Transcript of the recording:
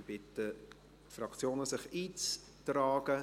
Ich bitte die Fraktionen, sich einzutragen.